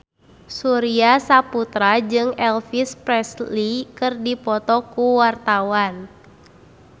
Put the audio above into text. Surya Saputra jeung Elvis Presley keur dipoto ku wartawan